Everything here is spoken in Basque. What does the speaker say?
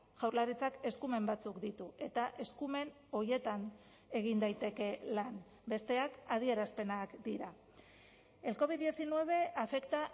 jaurlaritzak eskumen batzuk ditu eta eskumen horietan egin daiteke lan besteak adierazpenak dira el covid diecinueve afecta